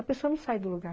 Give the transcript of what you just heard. A pessoa não sai do lugar.